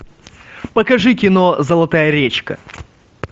покажи кино золотая речка